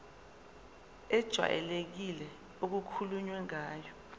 ejwayelekile okukhulunywe ngayo